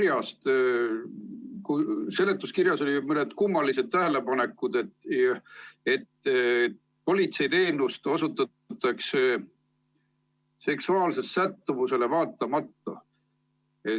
Ma lugesin seletuskirjast mõnda kummalist tähelepanekut, et politseiteenust osutatakse seksuaalsele sättumusele vaatamata.